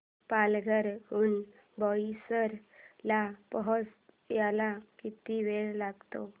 पालघर हून बोईसर ला पोहचायला किती वेळ लागतो